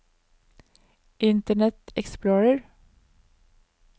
internet explorer